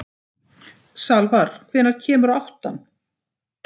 Salvar, hvenær kemur áttan?